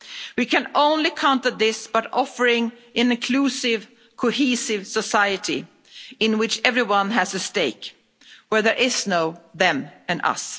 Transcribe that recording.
us'. We can only counter this by offering an inclusive, cohesive society in which everyone has a stake, where there is no them and